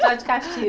Só de castigo.